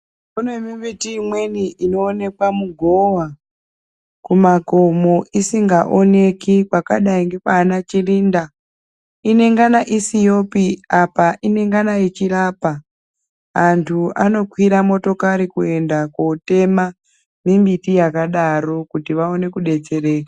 Pane mimbiti imweni inoonekwa mugowa kumakomo isingaoneki kwakadai nekwana Chirinda inengana isiyopi apa inengana yechirapa, antu anokwira motokari kuenda kotema mimbiti yakadaro kuti vaone kudetsereka.